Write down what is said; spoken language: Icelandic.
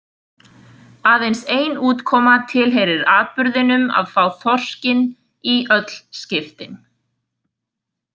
Aðeins ein útkoma tilheyrir atburðinum að fá þorskinn í öll skiptin.